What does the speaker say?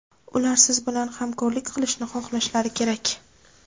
Ular siz bilan hamkorlik qilishni xohlashlari kerak.